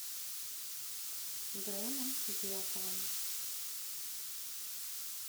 дроном дьяковым